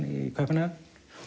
í Kaupmannahöfn